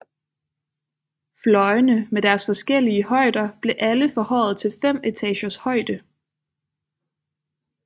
Fløjene med deres forskellige højder blev alle forhøjet til 5 etagers højde